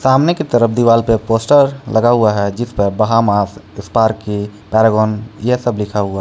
सामने की तरफ दीवार पे पोस्टर लगा हुआ है जिस पर बहामास स्पार्की पैरागन ये सब लिखा हुआ--